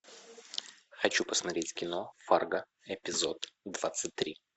хочу посмотреть кино фарго эпизод двадцать три